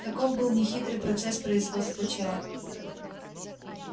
таков был нехитрый процесс производства чая